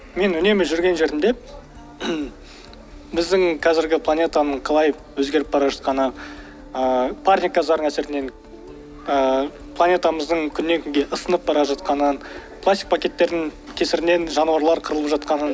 мен үнемі жүрген жерімде біздің қазіргі планетаның қалай өзгеріп бара жатқаны ыыы парник газдардың әсерінен ыыы планетамыздың күннен күнге ысынып бара жатқанын пластик пакеттерінің кесірінен жануарлар қырылып жатқанын